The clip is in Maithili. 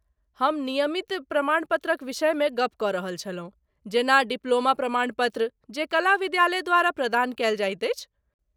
हम नियमित प्रमाणपत्रक विषयमे गप कऽ रहल छलहुँ, जेना डिप्लोमा प्रमाणपत्र जे कला विद्यालय द्वारा प्रदान कयल जाइत अछि।